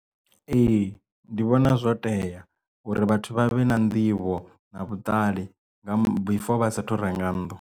Ee ndi vhona zwo tea uri vhathu vha vhe na nḓivho na vhuṱali nga before vhasa thu renga nnḓu.